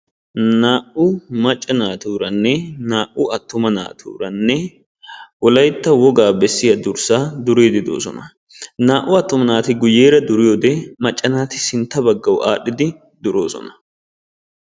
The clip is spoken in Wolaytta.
Naa''u maccaa naatuuranne naa''u arruma naatuura wolaytta woga bessiya durssa duride de'oosona, naa"u attuma naati guyyeera duriyoode, macaa naati sintta baggaaw aadhdhidi duroosona.